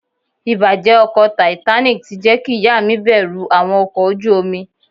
Ìbàjẹ́ ọkọ̀ Titanic ti jẹ́ kí ìyá mi bẹ̀rù àwọn ọkọ̀ ojú omi.